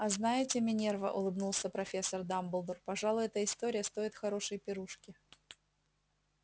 а знаете минерва улыбнулся профессор дамблдор пожалуй эта история стоит хорошей пирушки